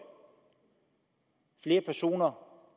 flere personer